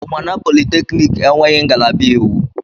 Unwanna polytechniki enweghị ngalaba iwu.